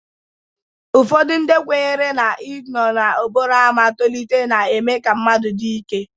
Ụfọdụ ndị kwenyere na-inọọ n'okporo ámá tolite na-eme ka mmadụ dị ike.